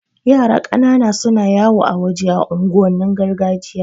Yara ƙanana suna yawo a waje a unguwannin gargajiya